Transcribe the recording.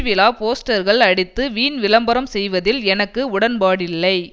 விழா போஸ்டர்கள் அடித்து வீண் விளம்பரம் செய்வதில் எனக்கு உடன்பாடில்லை